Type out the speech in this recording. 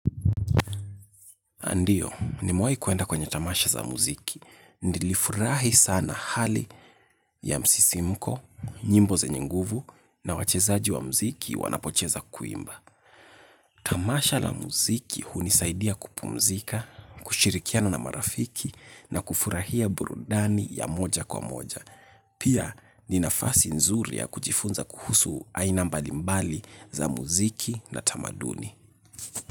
Ndiyo, nimewai kuenda kwenye tamasha za muziki. Nilifurahi sana hali ya msisimko, nyimbo zenye nguvu, na wachezaji wa muziki wanapocheza kuimba. Tamasha la muziki hunisaidia kupumzika, kushirikiana na marafiki, na kufurahia burudani ya moja kwa moja. Pia, ni nafasi nzuri ya kujifunza kuhusu aina mbalimbali za muziki na tamaduni.